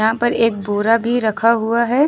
यहां पर एक बोरा भी रखा हुआ है।